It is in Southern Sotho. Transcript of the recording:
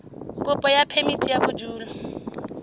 kopo ya phemiti ya bodulo